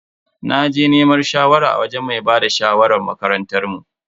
Naje neman shawara a wajen mai bada shawarar makarantar mu.